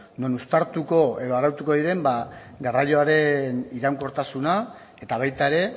non uztartuko edo arautuko diren garraioaren iraunkortasuna eta baita ere